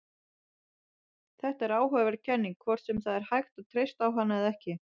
Þetta er áhugaverð kenning, hvort sem það er hægt að treysta á hana eða ekki.